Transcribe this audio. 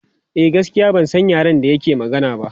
A gaskiya ban san yaren da yake magana ba.